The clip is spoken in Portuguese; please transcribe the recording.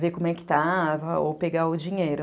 ver como é que estava, ou pegar o dinheiro.